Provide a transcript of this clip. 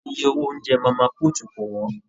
Ìyè owó oúnjẹ mama put kò wọn.